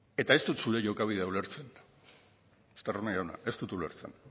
eta ez dut zure jokabidea ulertzen estarrona jauna ez dut ulertzen